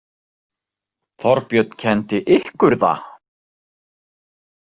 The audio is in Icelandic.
Þorbjörn kenndi ykkur það?